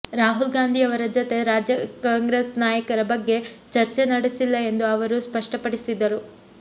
ರಾಹುಲ್ಗಾಂಧಿಯವರ ಜತೆ ರಾಜ್ಯ ಕಾಂಗ್ರೆಸ್ ನಾಯಕರ ಬಗ್ಗೆ ಚರ್ಚೆ ನಡೆಸಿಲ್ಲ ಎಂದು ಅವರು ಸ್ಪಷ್ಟಪಡಿಸಿದರು